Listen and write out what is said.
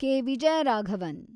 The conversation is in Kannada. ಕೆ. ವಿಜಯರಾಘವನ್